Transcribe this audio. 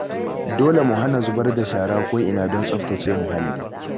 Dole mu hana zubar da shara ko'ina don tsaftace muhalli